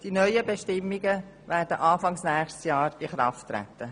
Die neuen Bestimmungen werden Anfang nächsten Jahres in Kraft treten.